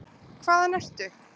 Hvaðan ertu?